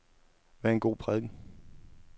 Hvad er en god prædiken?